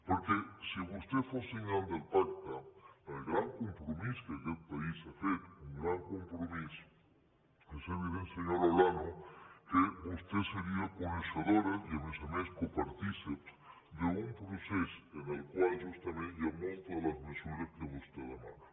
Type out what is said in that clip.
perquè si vostè fos signant del pacte el gran compromís que aquets país ha fet un gran compromís és evident senyora olano que vostè seria coneixedora i a més a més copartícip d’un procés en el qual justament hi ha moltes de les mesures que vostè demana